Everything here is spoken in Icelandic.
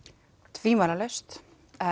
tvímælalaust